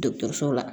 Dɔgɔtɔrɔso la